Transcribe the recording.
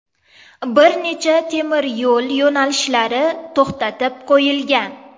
Bir necha temiryo‘l yo‘nalishlari to‘xtatib qo‘yilgan.